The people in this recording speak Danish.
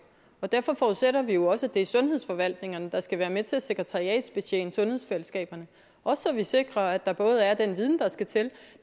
og derfor forudsætter vi jo også at det er sundhedsforvaltningerne der skal være med til at sekretariatsbetjene sundhedsfællesskaberne også så vi sikrer at der både er den viden der skal til